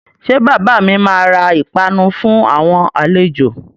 Ṣé bàbà mi máa ra ìpanu fún àwọn àlejò?